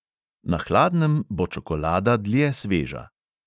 Na hladnem bo čokolada dlje sveža.